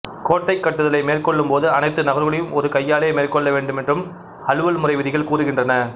கோட்டை கட்டுதலை மேற்கொள்ளும்போது அனைத்து நகர்வுகளையும் ஒரே கையாலேயே மேற்கொள்ள வேண்டுமென்றும் அலுவல் முறை விதிகள் கூறுகின்றன